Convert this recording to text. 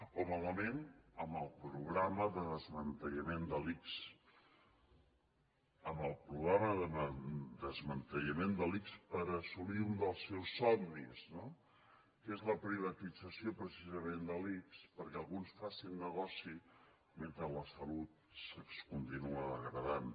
o malament amb el programa de desmantellament de l’ics per assolir un dels seus somnis no que és la privatització precisament de l’ics perquè alguns facin negoci mentre la salut es continua degradant